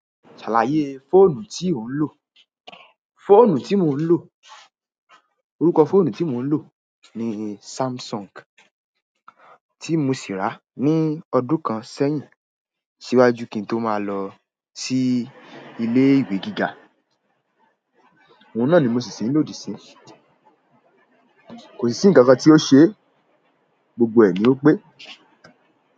Ṣàlàyé fóònù tí ò ń lò. Fóònù tí mò ń lò, orúkọ fóònù tí mò ń lò ni Samsung tí mo sì rà ní ọdún kan sẹ́yìn síwájú kí n tó máa lọ sí ilé ìwé gíga. Òun náà ni mo ṣì ṣì tiń lò di isinyi, kò sì ní ǹkan kan tí ó ṣe, gbogbo ẹ̀ ni ó pé.